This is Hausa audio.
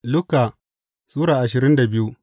Luka Sura ashirin da biyu